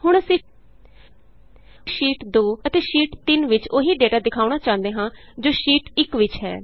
ਹੁਣ ਅਸੀਂ ਸ਼ੀਟ 2 ਅਤੇ ਸ਼ੀਟ 3ਵਿਚ ਉਹੀ ਡੇਟਾ ਦਿਖਾਉਣ ਚਾਹੁੰਦੇ ਹਾਂ ਜੋ ਸ਼ੀਟ 1ਵਿਚ ਹੈ